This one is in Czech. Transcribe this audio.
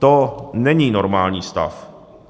To není normální stav.